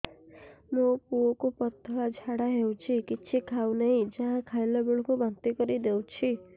ମୋ ପୁଅ କୁ ପତଳା ଝାଡ଼ା ହେଉଛି କିଛି ଖାଉ ନାହିଁ ଯାହା ଖାଇଲାବେଳକୁ ବାନ୍ତି କରି ଦେଉଛି